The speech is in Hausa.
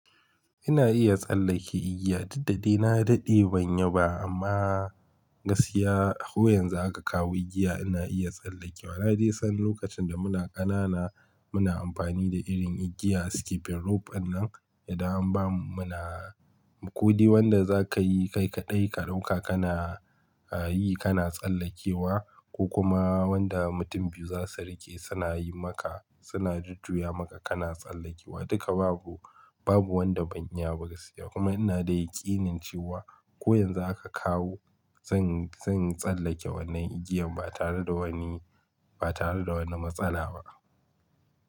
Ina iya tsallake igiya, duk dade na daɗe ban yi ba amma gaskiya ko yanzu aka kawo igiya ina iya tsallake wa. Na dai san lokacin da muna ƙanana muna amfani da irin igiyar skipping rope ɗinnan. Idan an ba mu, muna, kodai wanda za ka yi kai kaɗai ka ɗauka kana yi kana tsallakewa, ko kuma wanda mutum biyu za su riƙe suna yi maka suna jujjuya maka kana tsallakewa. Duka babu, babu wanda ban iya ba gaskiya. Kuma ina da yaƙinin cewa ko yanzu aka kawo zan, zan tsallake wannan igiyan ba tare da wani, ba tare da wani matsala ba.